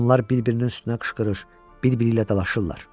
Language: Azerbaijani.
Onlar bir-birinin üstünə qışqırır, bir-biri ilə dalaşırlar.